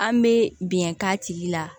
An bɛ bɛn k'a tigi la